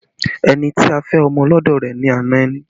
Ẹni tí a fẹ́ ọmọ lọ́dọ̀ rẹ ni ana ẹni